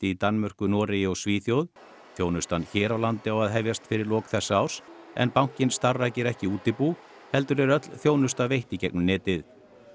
í Danmörku Noregi og Svíþjóð þjónustan hér á landi á að hefjast fyrir lok þessa árs en bankinn starfrækir ekki útibú heldur er öll þjónusta veitt í gegnum netið